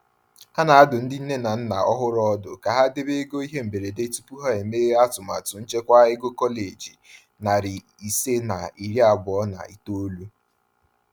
A na-adụ ndị nne na nna ọhụrụ ọdụ ka ha debe ego ihe mberede tupu ha emeghe atụmatụ nchekwa ego kọleji 529.